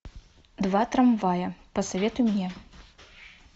два трамвая посоветуй мне